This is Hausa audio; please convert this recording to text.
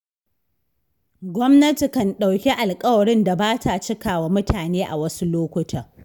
Gwamnati kan ɗauki alƙawarin da ba ta cikawa mutane a wasu lokutan.